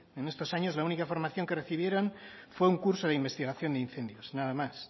en estos años la única formación que recibieron fue un curso de investigación de incendios nada más